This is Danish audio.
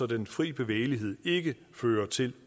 den fri bevægelighed ikke fører til